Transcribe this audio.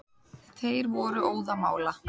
Þeir voru óðamála.